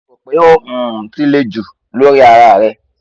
mo ro pe o um ti le ju lori ara rẹ